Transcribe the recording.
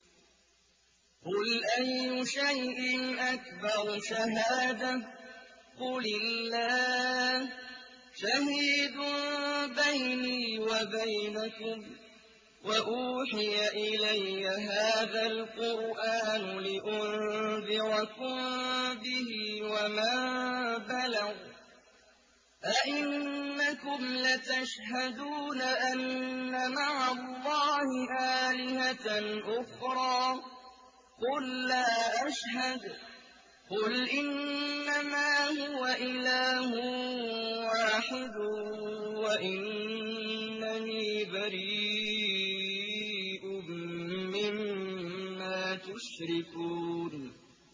قُلْ أَيُّ شَيْءٍ أَكْبَرُ شَهَادَةً ۖ قُلِ اللَّهُ ۖ شَهِيدٌ بَيْنِي وَبَيْنَكُمْ ۚ وَأُوحِيَ إِلَيَّ هَٰذَا الْقُرْآنُ لِأُنذِرَكُم بِهِ وَمَن بَلَغَ ۚ أَئِنَّكُمْ لَتَشْهَدُونَ أَنَّ مَعَ اللَّهِ آلِهَةً أُخْرَىٰ ۚ قُل لَّا أَشْهَدُ ۚ قُلْ إِنَّمَا هُوَ إِلَٰهٌ وَاحِدٌ وَإِنَّنِي بَرِيءٌ مِّمَّا تُشْرِكُونَ